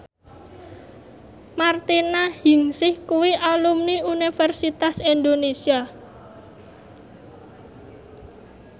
Martina Hingis kuwi alumni Universitas Indonesia